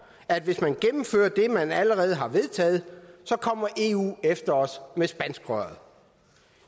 at hvis man gennemfører det man allerede har vedtaget så kommer eu efter os med spanskrøret